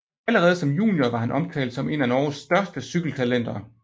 Allerede som junior var han omtalt som et af Norges største cykeltalenter